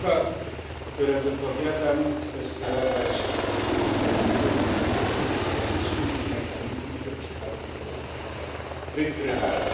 Słowa, które wypowiadam, chcę skierować w takim kierunku, iż powinniśmy mieć mechanizmy, że przypadki korupcji są wykrywalne.